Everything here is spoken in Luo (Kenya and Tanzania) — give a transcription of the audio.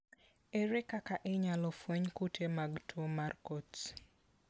Ere kaka inyalo fweny kute mag tuo mar Coats ?